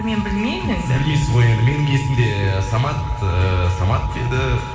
мен білмеймін білмейсіз ғой енді менің есімде самат ііі самат деді